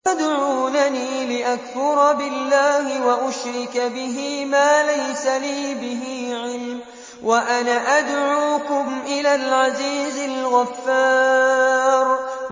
تَدْعُونَنِي لِأَكْفُرَ بِاللَّهِ وَأُشْرِكَ بِهِ مَا لَيْسَ لِي بِهِ عِلْمٌ وَأَنَا أَدْعُوكُمْ إِلَى الْعَزِيزِ الْغَفَّارِ